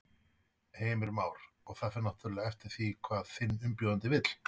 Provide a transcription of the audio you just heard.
Heimir Már: Og það fer náttúrulega eftir því hvað þinn umbjóðandi vill?